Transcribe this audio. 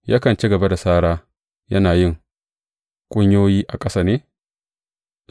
Yakan ci gaba da sara yana yin kunyoyi a ƙasa ne?